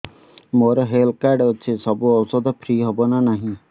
ମୋର health card ଅଛି ସବୁ ଔଷଧ ଫ୍ରି ହବ ନା ନାହିଁ